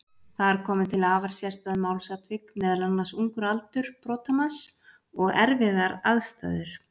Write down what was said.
Þar komu til afar sérstæð málsatvik, meðal annars ungur aldur brotamanns og erfiðar aðstæður.